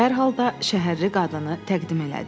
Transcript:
Dərhal da şəhərli qadını təqdim elədi.